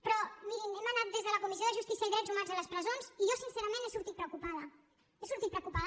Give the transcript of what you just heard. però mirin hem anat des de la comissió de justícia i drets humans a les presons i jo sincerament n’he sortit preocupada n’he sortit preocupada